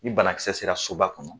Ni banakisɛ sera soba kɔnɔ